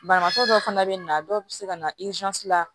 Banabaatɔ dɔw fana bɛ na dɔw bɛ se ka na la